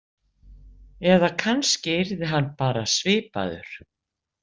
Eða kannski yrði hann bara svipaður.